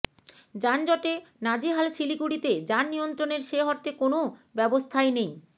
যানজটে নাজেহাল শিলিগুড়িতে যান নিয়ন্ত্রনের সে অর্থে কোনও ব্যবস্থাই নেই